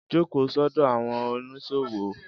Jókòó sọ́dọ̀ àwọn oníṣòwò